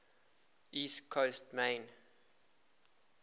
east coast maine